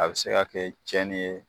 A be se ka kɛ cɛni ye